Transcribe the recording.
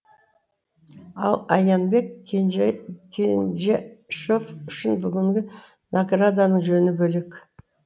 ал аянбек үшін бүгінгі награданың жөні бөлек